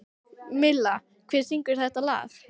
Milla, hver syngur þetta lag?